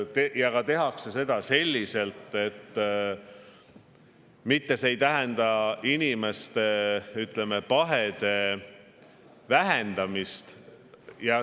Ja tehakse seda selliselt, et mitte see ei tähenda inimeste, ütleme, pahede vähendamist.